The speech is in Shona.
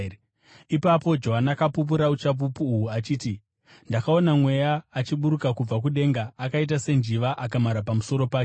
Ipapo Johani akapupura uchapupu uhu achiti, “Ndakaona mweya achiburuka kubva kudenga akaita senjiva akamhara pamusoro pake.